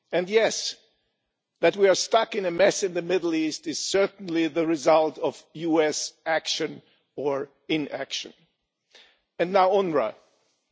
And yes, that we are stuck in a mess in the Middle East is certainly the result of US action or inaction, and now we come to UNRWA.